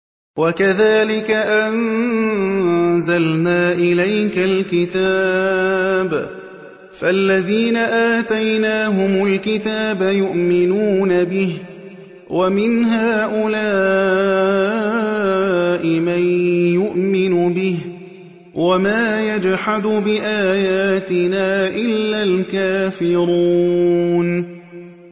وَكَذَٰلِكَ أَنزَلْنَا إِلَيْكَ الْكِتَابَ ۚ فَالَّذِينَ آتَيْنَاهُمُ الْكِتَابَ يُؤْمِنُونَ بِهِ ۖ وَمِنْ هَٰؤُلَاءِ مَن يُؤْمِنُ بِهِ ۚ وَمَا يَجْحَدُ بِآيَاتِنَا إِلَّا الْكَافِرُونَ